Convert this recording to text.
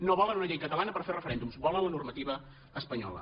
no volen una llei catalana per fer referèndums volen la normativa espanyola